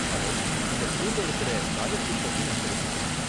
Hello, இந்த ஸ்கூல்ல இருக்கற ஸ்காலர்ஷிப் பத்தி நான் தெரிஞ்சுக்கணும்.